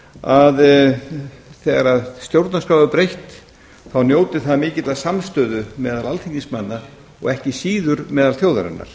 að þegar stjórnarskrá er breytt þá njóti það mikillar samstöðu meðal alþingismanna og ekki síður meðal þjóðarinnar